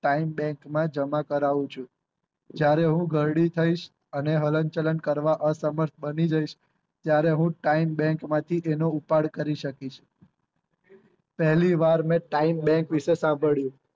time bank માં જમા કરાવું છું જયારે હું ઘરડી થઈશ અને હલનચલન કરવા અસમર્થ બની જઈશ ત્યારે હું time bank માંથી તેનો ઉપાડ કરી શકીશ પેહલી વાર મેં time bank વિષે સાંભળ્યું